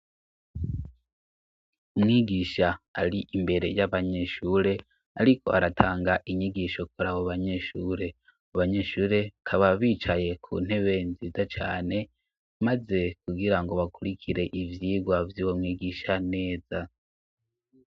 Umwigisha ari imbere y'abanyeshure, ariko aratanga inyigisho kura abo banyeshure abanyeshure kaba bicaye ku ntebe nziza cane, maze kugira ngo bakurikire ivyirwa vy'uwo mwigisha neza.